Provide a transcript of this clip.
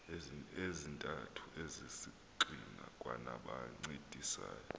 ezintathu ezisisigxina kwanabancedisayo